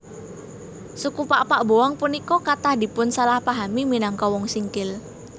Suku Pakpak Boang punika kathah dipunsalahpahami minangka Wong Singkil